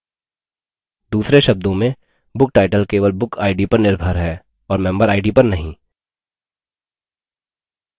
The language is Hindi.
दूसरे शब्दों में booktitle केवल book id पर निर्भर है और member id पर नहीं